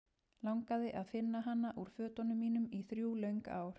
Langaði að finna hana úr fötunum mínum í þrjú löng ár.